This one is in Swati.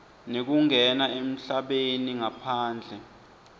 nekungena emhlabeni ngaphandle